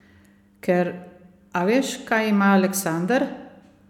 Ker, a veš, kaj ima Aleksander?